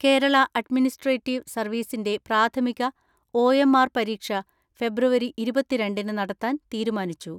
Kerala administrative സർവീസിന്റെ പ്രാഥമിക O M R പരീക്ഷ ഫെബ്രുവരി ഇരുപത്തിരണ്ടിന് നടത്താൻ തീരുമാനിച്ചു.